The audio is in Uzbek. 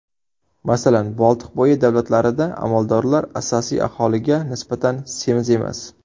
Masalan, Boltiqbo‘yi davlatlarida amaldorlar asosiy aholiga nisbatan semiz emas.